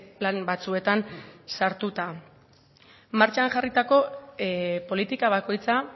plan batzuetan sartuta martxan jarritako politika bakoitza